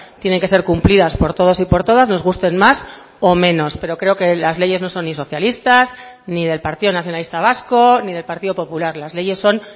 tienen que ser cumplidas por todos y por todas nos gusten más o menos pero creo que las leyes no son ni socialistas ni del partido nacionalista vasco ni del partido popular las leyes son